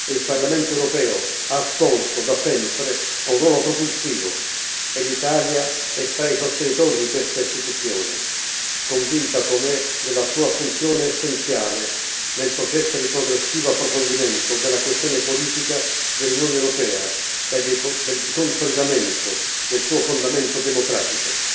Il Parlamento europeo ha assolto, da sempre, un ruolo propulsivo e l'Italia è tra i sostenitori di questa Istituzione, convinta com'è della sua funzione essenziale nel processo di progressivo approfondimento della questione politica dell'Unione europea e di consolidamento del suo fondamento democratico.